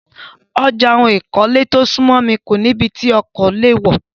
Ọjà ohun ìkọ́lé tó súnmọ́ mi kó nì ibí tí ọkọ̀ lè wọ̀.